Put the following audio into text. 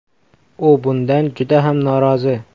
U bundan juda ham norozi .